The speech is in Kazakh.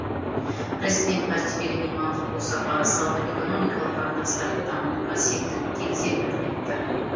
президент мәртебелі мейманның бұл сапары сауда экономикалық қатынастарды дамытуға септігін тигізетінін айтты